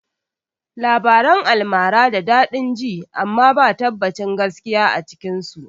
Labaran almara da daɗin ji amma ba tabbacin gaskiya a cikin su